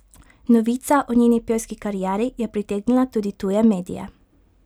Novica o njeni pevski karieri je pritegnila tudi tuje medije.